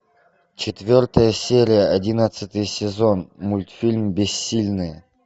четвертая серия одиннадцатый сезон мультфильм бессильные